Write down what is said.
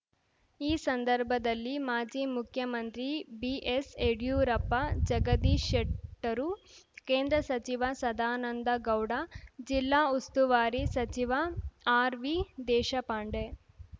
ಈ ಸಂದರ್ಭದಲ್ಲಿ ಮಾಜಿ ಮುಖ್ಯಮಂತ್ರಿ ಬಿಎಸ್‌ ಯಡ್ಯೂರಪ್ಪ ಜಗದೀಶ ಶೆಟ್ಟರು ಕೇಂದ್ರ ಸಚಿವ ಸದಾನಂದ ಗೌಡ ಜಿಲ್ಲಾ ಉಸ್ತುವಾರಿ ಸಚಿವ ಆರ್‌ವಿ ದೇಶಪಾಂಡೆ